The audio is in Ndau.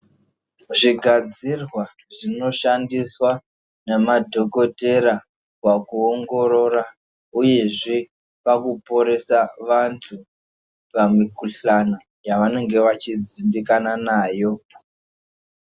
Zvigadzirwa zvinoshandiswa namadhogodhera pakuongorora, uyezve pakuporesa vantu pamikuhlana yavanenge vachidzimbikana nayo.